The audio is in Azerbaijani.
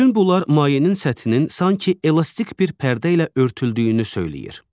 Bütün bunlar mayenin səthinin sanki elastik bir pərdə ilə örtüldüyünü söyləyir.